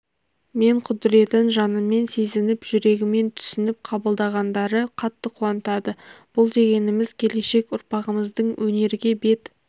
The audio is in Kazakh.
мен құдіретін жанымен сезініп жүрегімен түсініп қабылдағандары қатты қуантады бұл дегеніміз келешек ұрпағымыздың өнерге бет